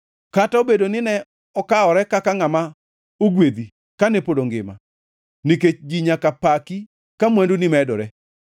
kata obedo ni ne okawore kaka ngʼama ogwedhi kane pod ongima nikech ji nyaka paki ka mwanduni medore,